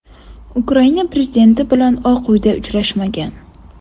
Ukraina prezidenti bilan Oq Uyda uchrashmagan.